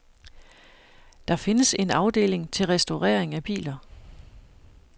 Der findes en afdeling til restaurering af biler.